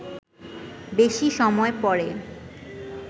বেশি সময় পরে